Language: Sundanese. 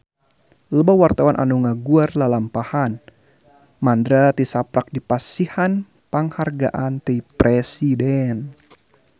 Loba wartawan anu ngaguar lalampahan Mandra tisaprak dipasihan panghargaan ti Presiden